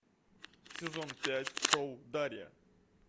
сезон пять шоу дарья